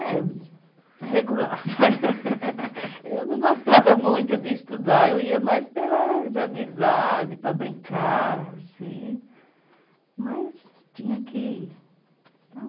É, regular, mas eu não gostava muito de estudar, eu ia mais pelas amizades, para brincar, assim, mas tinha que ir.